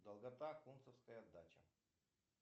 долгота кунцевская дача